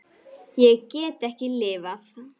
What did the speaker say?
Ég get ekki lifað.